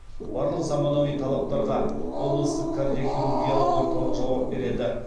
барлық заманауи талаптарға облыстық кардиохирургиялық орталық жауап береді